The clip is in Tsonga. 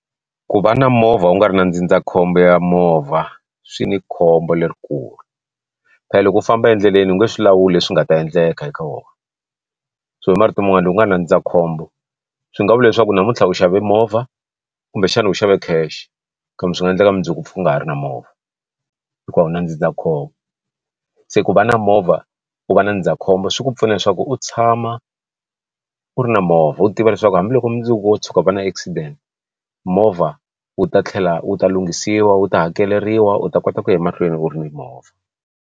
Ku va na movha u nga ri na ndzindzakhombo ya movha swi ni khombo lerikulu phe loko u famba endleleni u nge swi lawuli swi nga ta endleka eka wona so hi marito man'wana loku nga ri na ndzindzakhombo swi nga vula leswaku namuntlha u xave movha kumbexana u xave cash kambe swi nga endleka mundzuku pfuka ha ri na movha hikuva u wu na ndzindzakhombo se ku va na movha u va na ndzindzakhombo swi ku pfuna leswaku u tshama u ri na movha u tiva leswaku hambiloko mundzuku wo tshuka u va na accident movha wu ta tlhela wu ta lunghisiwa wu ta hakeleriwa u ta kota ku ya mahlweni u ri ni movha.